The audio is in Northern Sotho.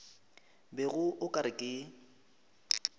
bego o ka re ke